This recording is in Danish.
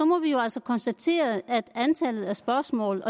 må vi jo altså konstatere at antallet af spørgsmål